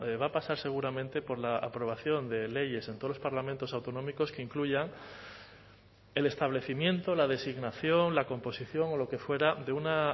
va a pasar seguramente por la aprobación de leyes en todos los parlamentos autonómicos que incluyan el establecimiento la designación la composición o lo que fuera de una